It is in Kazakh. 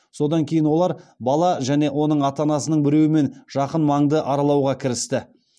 содан кейін олар бала және оның ата анасының біреуімен жақын маңды аралауға кірісті